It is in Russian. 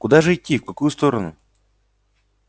куда же идти в какую сторону